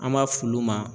An b'a f'olu ma